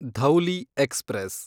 Dhauli express